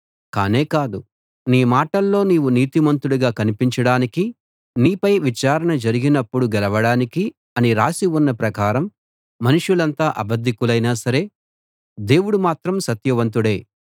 కానేకాదు నీ మాటల్లో నీవు నీతిమంతుడుగా కనిపించడానికి నీపై విచారణ జరిగినప్పుడు గెలవడానికి అని రాసి ఉన్న ప్రకారం మనుషులంతా అబద్ధికులైనా సరే దేవుడు మాత్రం సత్యవంతుడే